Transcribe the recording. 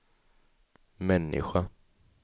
människa